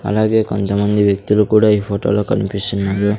అలాగే కొంతమంది వ్యక్తులు కూడా ఈ ఫోటొలో కనిపిస్తున్నారు.